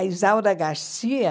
A Isaura Garcia...